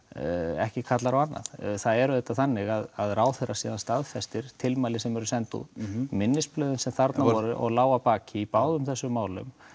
ekki kallar á annað það er auðvitað þannig að ráðherra síðan staðfestir tilmæli sem send voru út minnisblöðin sem þarna voru og lágu að baki í báðum þessum málum